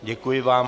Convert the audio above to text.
Děkuji vám.